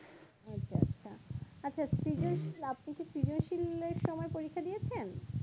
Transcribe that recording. আচ্ছা সৃজনশীল আপনি কি সৃজন শীলের সময় পরীক্ষা দিয়েছেন